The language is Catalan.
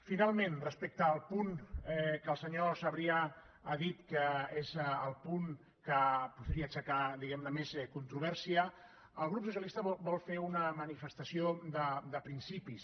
finalment respecte al punt que el senyor sabrià ha dit que és el punt que podria aixecar diguem ne més controvèrsia el grup socialista vol fer una manifestació de principis